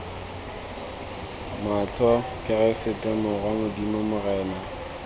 matlho keresete morwa modimo morena